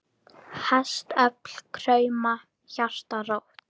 Hestöfl krauma, hjarta rótt.